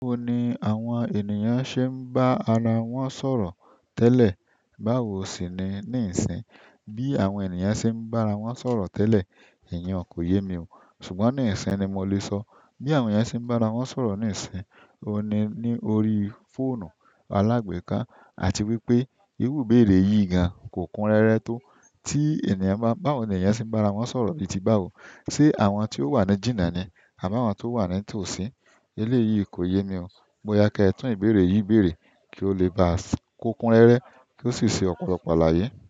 Báwo ni àwọn ènìyàn ṣe ń bá ara wọn sọ̀rọ̀ tẹ́lẹ̀, báwo sì ni níìsín? Bi àwọn ènìyàn se n ba ara wọn sọ̀rọ̀ tẹlẹ, iyen ko ye mi o. Ṣùgbọ́n nisisiyi ni mo le sọ bí àwọn ènìyàn ṣe ń bá ara wọn sọ̀rọ̀ níìsín, o ni ní orí fóònù alágbèéká àti wípé irú ìbeerevyìí gan kò kun rẹ́rẹ́ tó. Tí ènìyàn bá, báwo ni ènìyàn ṣe ń bá ara wọn sọ̀rọ̀ bíi ti báwo? Ṣé àwọn tí ó wà ní jìnnà ni àbí àwọn tó wà ní tòsí? Eléyìí kò yé mi o. Bóyá kẹ́ tún ìbéèrè yìí béèrè kí ó lè ba kó kun rẹ́rẹ́ kí ó sì ṣe ọ̀pọ̀lọpọ̀ láyé.